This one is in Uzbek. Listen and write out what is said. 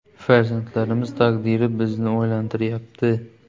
– Farzandlarimiz taqdiri bizni o‘ylantiryapti.